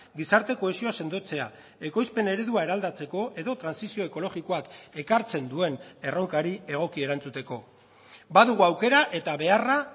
gizarte kohesioa sendotzea ekoizpen eredua eraldatzeko edo trantsizio ekologikoak ekartzen duen erronkari egoki erantzuteko badugu aukera eta beharra